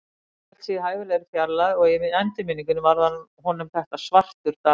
En Danni hélt sig í hæfilegri fjarlægð, og í endurminningunni varð honum þetta svartur dagur.